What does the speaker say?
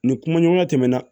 Ni kumaɲɔgɔnya tɛmɛna